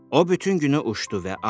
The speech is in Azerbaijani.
O bütün günü uçdu